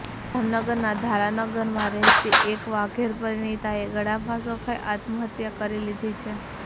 જામનગરના ધરારનગરમાં રહેતી એક વાઘેર પરિણીતાએ ગળાફાંસો ખાઈ આત્મહત્યા કરી લીધી છે